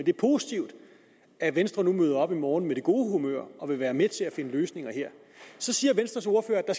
er positivt at venstre møder op i morgen med det gode humør og vil være med til at finde løsninger så siger venstres ordfører at